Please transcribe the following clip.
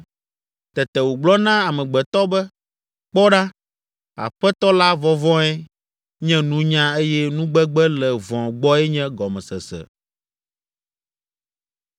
Tete wògblɔ na amegbetɔ be, ‘Kpɔ ɖa, Aƒetɔ la vɔvɔ̃e nye nunya eye nugbegbe le vɔ̃ gbɔe nye gɔmesese.’ ”